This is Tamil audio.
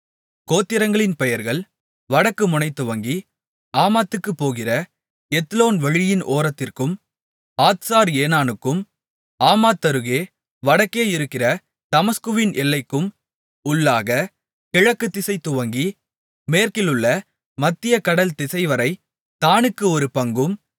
கோத்திரங்களின் பெயர்கள் வடக்கு முனைதுவங்கி ஆமாத்துக்குப்போகிற எத்லோன் வழியின் ஓரத்திற்கும் ஆத்சார் ஏனானுக்கும் ஆமாத்தருகே வடக்கேயிருக்கிற தமஸ்குவின் எல்லைக்கும் உள்ளாகக் கிழக்குதிசை துவங்கி மேற்கிலுள்ள மத்திய கடல் திசைவரை தாணுக்கு ஒரு பங்கும்